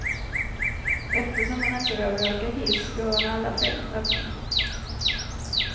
Eftersom han inte vågar åka hiss går han alla fem trapporna.